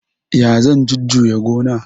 Ya zan jujuya gona?